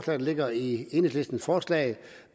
der ligger i enhedslistens forslag